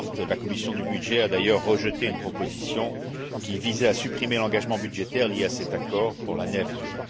La commission des budgets a d'ailleurs rejeté une proposition qui visait à supprimer l'engagement budgétaire lié à cet accord pour l'année à venir.